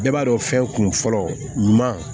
Bɛɛ b'a dɔn fɛn kunfɔlɔ ɲuman